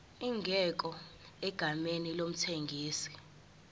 ingekho egameni lomthengisi